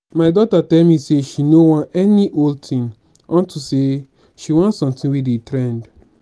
my daughter tell me say she no wan any old thing unto say she want something wey dey trend